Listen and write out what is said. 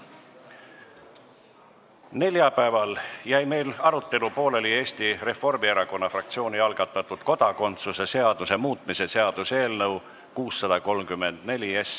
Neljapäeval jäi meil pooleli Eesti Reformierakonna fraktsiooni algatatud kodakondsuse seaduse muutmise seaduse eelnõu 634 arutelu.